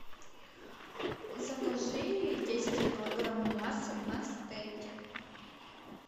закажи десять килограмм мяса на стейки